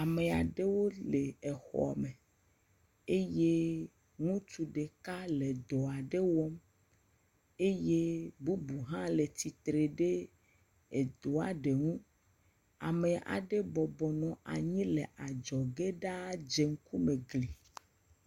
Ame aɖewo le exɔme, eye ŋutsu ɖeka le dɔ aɖe wɔm, eye bubu ha le tsitre ɖe èdoa ɖe ŋu. Ame aɖe bɔbɔnɔ anyi le adzɔge ɖã dze ŋkume egli.